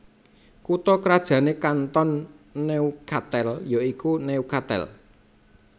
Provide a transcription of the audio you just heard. Kutha krajané Kanton Neuchâtel ya iku Neuchâtel